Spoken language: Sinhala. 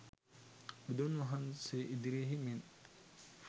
බුදුන් වහන්සේ ඉදිරියෙහි මෙන්